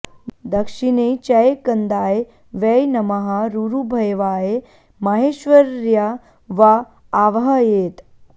दक्षिणे चै कन्दाय वै नमः रुरुभैवाय माहेश्वर्या वा आवाहयेत्